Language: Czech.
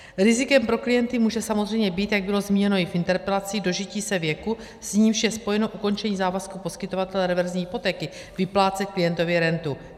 Rizikem pro klienty může samozřejmě být, jak bylo zmíněno i v interpelaci, dožití se věku, s nímž je spojeno ukončení závazku poskytovatele reverzní hypotéky vyplácet klientovi rentu.